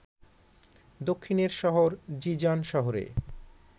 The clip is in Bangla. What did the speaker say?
দক্ষিণের শহর জিজান শহরে